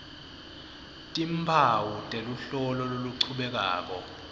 timphawu teluhlolo loluchubekako